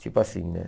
Tipo assim, né?